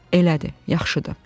Elədir, yaxşıdır.